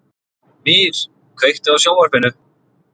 Mír, kveiktu á sjónvarpinu.